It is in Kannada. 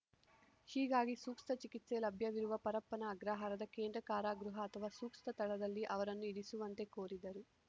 ಹೀಗಾಗಿ ಸೂಕ್ತ ಚಿಕಿತ್ಸೆ ಲಭ್ಯವಿರುವ ಪರಪ್ಪನ ಅಗ್ರಹಾರದ ಕೇಂದ್ರ ಕಾರಾಗೃಹ ಅಥವಾ ಸೂಕ್ತ ಸ್ಥಳದಲ್ಲಿ ಅವರನ್ನು ಇರಿಸುವಂತೆ ಕೋರಿದರು